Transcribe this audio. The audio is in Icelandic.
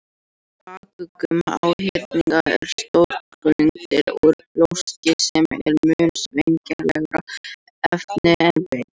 Í bakuggum háhyrninga er stoðgrindin úr brjóski sem er mun sveigjanlegra efni en bein.